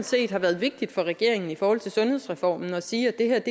set har været vigtigt for regeringen i forhold til sundhedsreformen at sige at det her er